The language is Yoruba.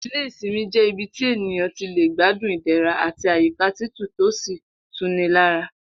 Ilé ìsimi jé̩ ibi tí ènìyàn ti lè gbádùn ìdè̩ra àti àyíkà tutù tó sì tu ni lára